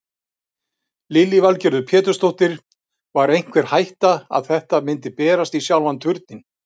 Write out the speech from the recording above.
Lillý Valgerður Pétursdóttir: Var einhver hætta að þetta myndi berast í sjálfan Turninn?